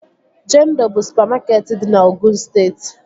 Jendọ bụ supamakeetị dị na Ogụn steeti